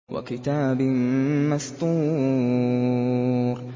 وَكِتَابٍ مَّسْطُورٍ